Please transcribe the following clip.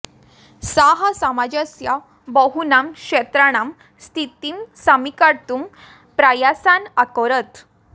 सः समाजस्य बहूनां क्षेत्राणां स्थितिं समीकर्तुं प्रयासान् अकरोत्